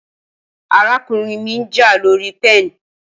Arakunrin mi nja lori pen